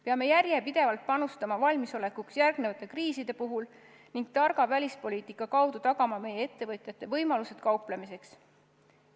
Peame järjepidevalt panustama, et olla valmis järgmisteks kriisideks, ning targa välispoliitika kaudu tagama meie ettevõtjate võimalused kauplemiseks.